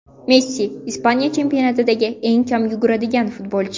Messi – Ispaniya chempionatida eng kam yuguradigan futbolchi.